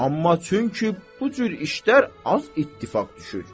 Amma çünki bu cür işlər az ittifaq düşür.